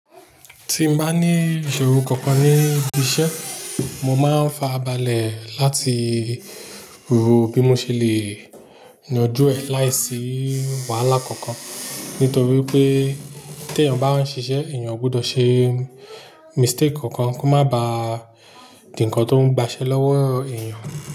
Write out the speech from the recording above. Ti n bá ní ìṣòro kankan níbi iṣẹ́, mo máa ń farabalẹ̀ láti rò bí mo ṣe le yanju ẹ̀ láìsí wàhálà kankan. Nítorí pé tí èèyàn bá ń ṣiṣẹ́, èèyàn gbọdọ̀ ṣe mistake kankan kó má ba di ǹkan tó ń gbaṣẹ́ lọ́wọ́ èèyàn.